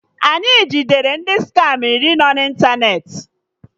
Anyị jidere ndị skama iri no na ịntanetị